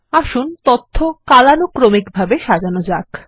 আসুন তথ্য কালানুক্রমিকভাবে সাজানোযাক